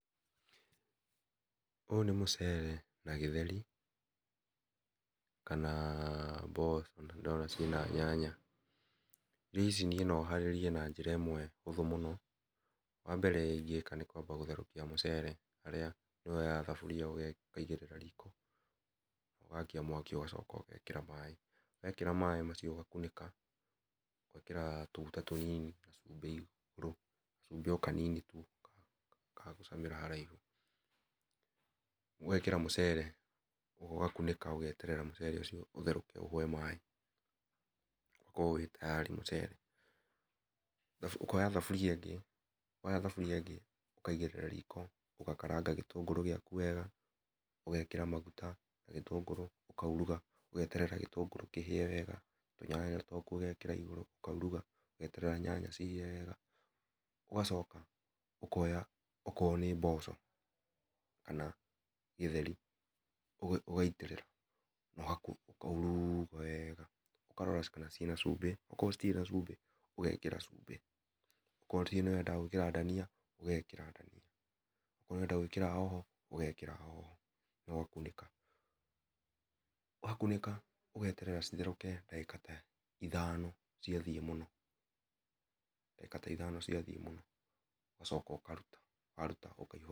Ũyũ nĩ mũcere na gĩtheri, kana mboco na nĩ ndĩrona ciĩ na nyanya rĩũ icĩ no harĩrie na njĩra ĩmwe hũthũ mũno wambele nĩ kwamba gũtherũkĩa mũcere harĩa woyaga thabũria ũkaĩgĩrĩra riko ũgakia mwaki ũgacoka ũgekĩra maĩ wekĩra maĩ macio ũgakũnĩka ũgekĩra tũgũta tũnini ũgekĩra cũmbĩ igũrũ gacũmbĩ o kanini tũ ka gũcamĩra haraihũ ũgekĩra mũcere ũgakũnĩka ũgeterera mũcere ũcio ũtherũke ũhwe maĩ o korwo wĩ tayari mũcere . Ũkpoya thabũria ĩngĩ woya thabũrĩa ĩngĩ ũkaĩgĩrĩra riko ũgakaranga gĩtũngũrĩ gĩakũ wega ũgekĩra magũta ũgekĩra gĩtũngũrũ ũkaũrũga ũgeterera gĩtũngũrũ kĩhĩe wega tũnyanya twakũ ũgekĩra igũrũ ũkaũrũga ũgeterera nyanya ihĩe wega ũgacoka ũkoya okoya okorwo nĩ mboco kana gĩtheri ũgaĩtĩrĩra ũkaũrũga wega ũkarora kana ciĩna cũmbĩ o korwo ĩtĩrĩ na cũmbĩ ũgekĩra cũmbĩ okorwo nĩ wenda gũĩkĩra ndania ũgekĩra ndania okorwo nĩ ũrenda gũĩkĩra hoho ũgekĩra hoho na ũgakũnĩka wakũnĩka ũgeterera itherũke ndagĩka ta ĩthano cia thiĩ mũno ndagĩka ta ithano cia thiĩ mũno ũgacoka ũkarũta warũta ũgacoka ũka.